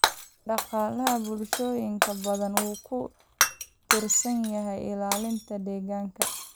Dhaqaalaha bulshooyin badan wuxuu ku tiirsan yahay ilaalinta deegaanka.